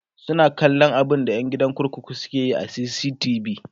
suna kallan abunda ƴan kurkukun ke Yi a CCTV